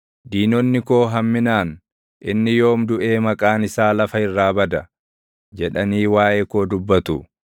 Diinonni koo hamminaan, “Inni yoom duʼee maqaan isaa lafa irraa bada?” jedhanii waaʼee koo dubbatu.